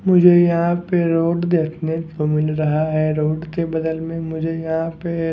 मुझे यहाँ पे रोड देखने को मिल रहा है रोड के बदल में मुझे यहाँ पे --